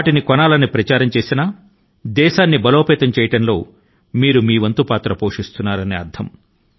మీరు లోకల్ కొన్నప్పుడు ప్రతి ఒక్కరూ లోకల్ కొనే విధం గా నలుగురి కి ప్రచారం చేస్తే మీరు దేశాన్ని బలోపేతం చేయడం లో పాత్ర ను పోషించినట్లు అవుతుంది